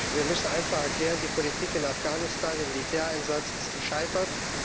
Wir müssen einfach erklären, die Politik in Afghanistan der Militäreinsatz ist gescheitert.